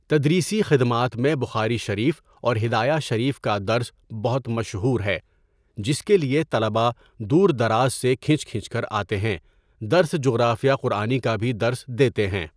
ٍتدریسی خدمات میں بخاری شریف اور ہدایہ شریف کا درس بہت مشہور ہے جس کے لیے طلبہ دور دراز سے کھنچ کھنچ کر آتے ہیں درس جغرافیہ قرآنی کا بھی درس دیتے ہیں.